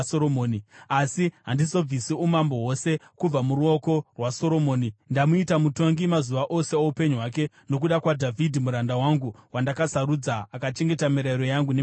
“ ‘Asi handizobvisi umambo hwose kubva muruoko rwaSoromoni; ndamuita mutongi mazuva ose oupenyu hwake nokuda kwaDhavhidhi muranda wangu, wandakasarudza, akachengeta mirayiro yangu nemitemo yangu.